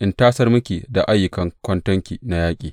in tasar miki da ayyukan kwantona na yaƙi.